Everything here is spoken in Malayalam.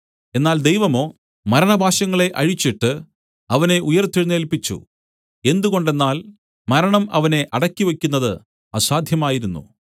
എന്നാൽ ദൈവമോ മരണപാശങ്ങളെ അഴിച്ചിട്ട് അവനെ ഉയിർത്തെഴുന്നേല്പിച്ചു എന്തുകൊണ്ടെന്നാൽ മരണം അവനെ അടക്കി വെയ്ക്കുന്നത് അസാദ്ധ്യമായിരുന്നു